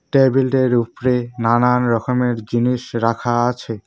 টেবিলের উপরে নানান রকমের জিনিস রাখা আছে।